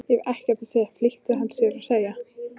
Ég hef ekkert að segja flýtti hann sér að segja.